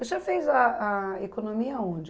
O senhor fez a a economia onde?